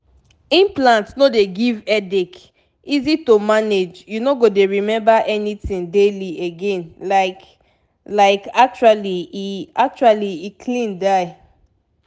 implant no dey give headache easy to manage you no go dey remember anything daily again like like actually e actually e clean die.